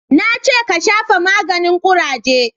Na ce ka shafa maganin kuraje!